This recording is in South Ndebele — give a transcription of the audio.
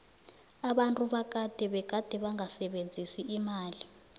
abantu bakade begade bangasebenzisi imali